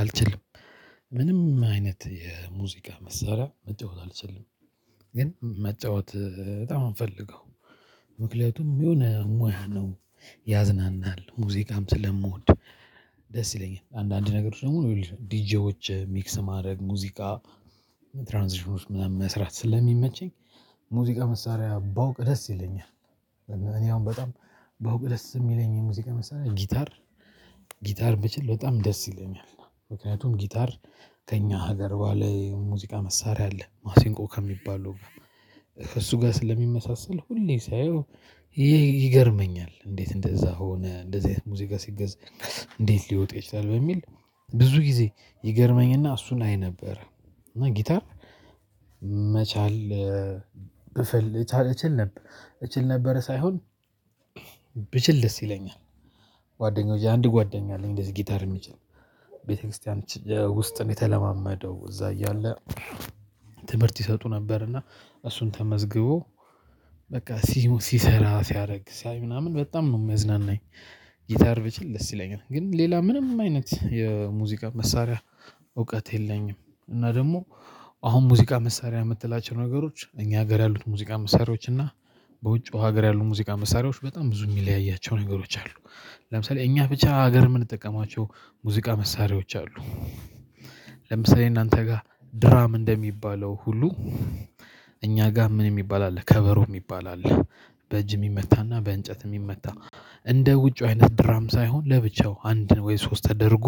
አልችልም። ምንም አይነት የሙዚቃ መሳሪያ መጫወት አልችልም ግን መጫወት በጣም ነው የምፈልገው። ምክንያቱም የሆነ ሙያ ነው ያዝናናል ሙዚቃም ስለምወድ። ደስ ይለኛል አንዳንድ ነገሮች ደግሞ ዲጄዎች ሚክስ ማድረግ ሙዚቃ ትራንዚሽን ውስጥ ምናምን መስራት ስለሚመቸኝ ሙዚቃ መሳሪያ ባውቅ ደስ ይለኛል። እኔ አሁን በጣም ባውቅ ደስ የሚለኝ የሙዚቃ መሳሪያ ጊታር ጊታር ብችል በጣም ደስ ይለኛል። ምክንያቱም ጊታር ከእኛ ሀገር በለ ሙዚቃ መሳሪያ አለ ማሲንቆ ከሚባለው ጋር ከእሱ ጋር ስለሚመሳሰል ሁሌ ሳየው ይገርመኛል። እንዴት እንደዛ ሆነ እንደዚህ አይነት ሙዚቃ ሲገዘገዝ እንዴት ሊወጡ ይችላል በሚል ብዙ ጊዜ ይገርመኝና እሱን አይ ነበር። እና ጊታር መቻል ብፈል እችል ነበር እችል ነበር ሳይሆን ብችል ደስ ይለኛል። ጓደኞቼ አንድ ጓደኛ አለኝ እንደዚህ ጊታር የሚችል ቤተክርስቲያን ውስጥ ነው የተለማመደው እዛ እያለ። ትምህርት ይሰጡ ነበር እና እሱን ተመዝግቦ በቃ ሲሰራ ሲያደርግ ሳይ ምናምን በጣም ነው የሚያዝናናኝ። ጊታር ብችል ደስ ይለኛል ግን ሌላ ምንም አይነት የሙዚቃ መሳሪያ እውቀት የለኝም። እና ደግሞ አሁን ሙዚቃ መሳሪያ የምትላቸው ነገሮች እኛ ሀገር ያሉት ሙዚቃ መሳሪያዎች እና በውጭ ሀገር ያሉት ሙዚቃ መሳሪያዎች በጣም ብዙ የሚለያያቸው ነገሮች አሉ። ለምሳሌ እኛ ብቻ ሀገር የምንጠቀማቸው ሙዚቃ መሳሪያዎች አሉ። ለምሳሌ እናንተ ጋር ድራም እንደሚባለው ሁሉ እኛ ጋር ምን የሚባል አለ ከበሮ የሚባል አለ። በእጅ የሚመታና በእንጨት የሚመታ እንደ ውጪው አይነት ድራም ሳይሆን ለብቻው አንድ ወይ ሶስት ተደርጎ